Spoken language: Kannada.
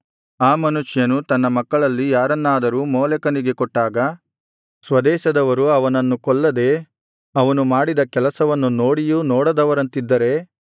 ಆ ಮನುಷ್ಯನು ತನ್ನ ಮಕ್ಕಳಲ್ಲಿ ಯಾರನ್ನಾದರೂ ಮೋಲೆಕನಿಗೆ ಕೊಟ್ಟಾಗ ಸ್ವದೇಶದವರು ಅವನನ್ನು ಕೊಲ್ಲದೆ ಅವನು ಮಾಡಿದ ಕೆಲಸವನ್ನು ನೋಡಿಯೂ ನೋಡದವರಂತಿದ್ದರೆ